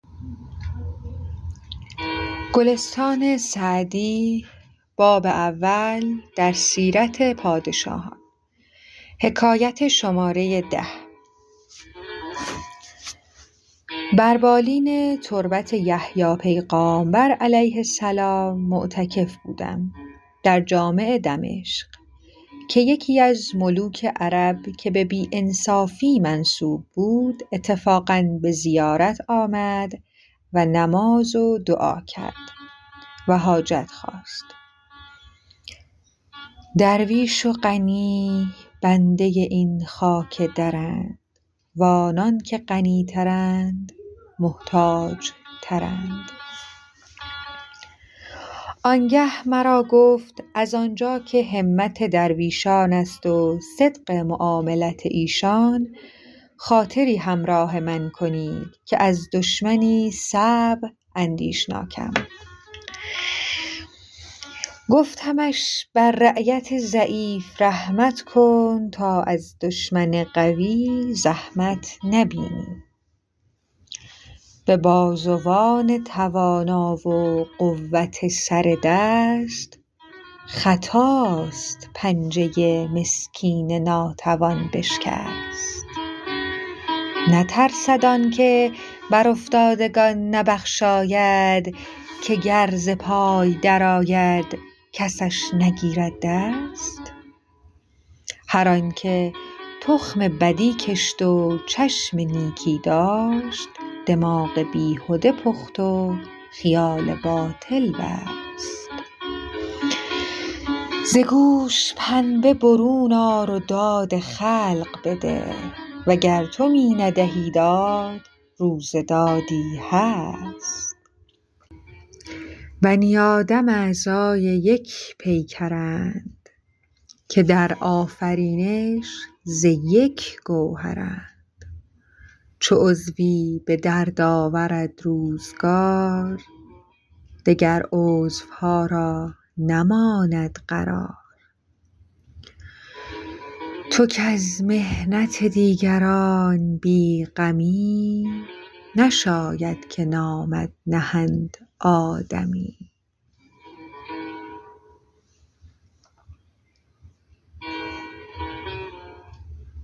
بر بالین تربت یحیی پیغامبر -علیه السلام- معتکف بودم در جامع دمشق که یکی از ملوک عرب که به بی انصافی منسوب بود اتفاقا به زیارت آمد و نماز و دعا کرد و حاجت خواست درویش و غنی بنده این خاک درند و آنان که غنی ترند محتاج ترند آن گه مرا گفت از آن جا که همت درویشان است و صدق معاملت ایشان خاطری همراه من کنید که از دشمنی صعب اندیشناکم گفتمش بر رعیت ضعیف رحمت کن تا از دشمن قوی زحمت نبینی به بازوان توانا و قوت سر دست خطاست پنجه مسکین ناتوان بشکست نترسد آن که بر افتادگان نبخشاید که گر ز پای در آید کسش نگیرد دست هر آن که تخم بدی کشت و چشم نیکی داشت دماغ بیهده پخت و خیال باطل بست ز گوش پنبه برون آر و داد خلق بده وگر تو می ندهی داد روز دادی هست بنی آدم اعضای یکدیگرند که در آفرینش ز یک گوهرند چو عضوی به درد آورد روزگار دگر عضوها را نماند قرار تو کز محنت دیگران بی غمی نشاید که نامت نهند آدمی